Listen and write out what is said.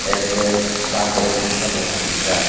airpress taborok risha bw khasi jaak.